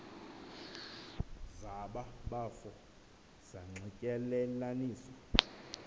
zaba bafo zanxityelelaniswa